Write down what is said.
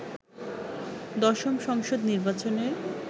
দশম সংসদ নির্বাচনের